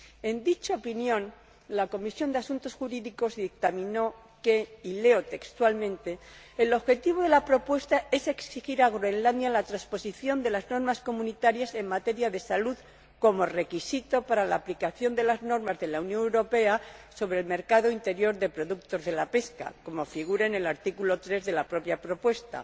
En dicha opinión, la Comisión de Asuntos Jurídicos dictaminó que y leo textualmente el objetivo de la propuesta es exigir a Groenlandia la transposición de las normas comunitarias en materia de salud, como requisito para la aplicación de las normas de la Unión Europea sobre el mercado interior de productos de la pesca, como figura en el artículo 3 de la propia propuesta,